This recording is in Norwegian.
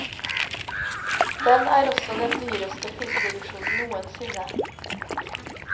Den er også den dyreste filmproduksjonen noensinne.